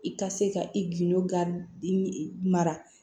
I ka se ka i gindo ga i mara